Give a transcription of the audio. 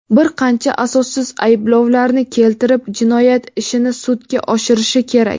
bir qancha asossiz ayblovlarni keltirib jinoyat ishini sudga oshirishi kerak?.